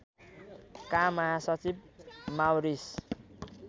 का महासचिव माउरीस